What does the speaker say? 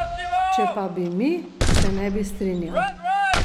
Če pa bi mi, se ne bi strinjal.